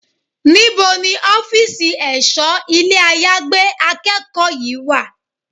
Níbo ni ọ́fíìsì ẹ̀ṣọ́ ilé àyágbé akẹ́kọ̀ọ́ yí wà?